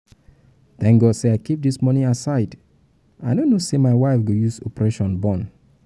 thank god i keep dis money aside i no um know say my wife go use operation born